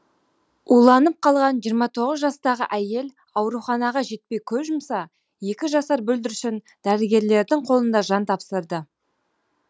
уланып қалған жиырма тоғыз жастағы әйел ауруханаға жетпей көз жұмса екі жасар бүлдіршін дәрігерлердің қолында жан тапсырды